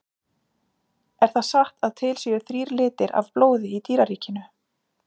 Er það satt að til séu þrír litir af blóði í dýraríkinu?